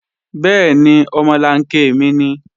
Bẹ́ẹ̀ni, omolanke mi nìí